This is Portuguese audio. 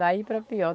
Daí para pior.